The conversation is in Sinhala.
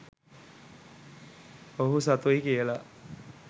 ඔහු සතුයි කියලා